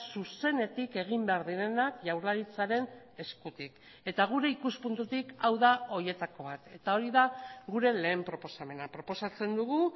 zuzenetik egin behar direnak jaurlaritzaren eskutik eta gure ikuspuntutik hau da horietako bat eta hori da gure lehen proposamena proposatzen dugu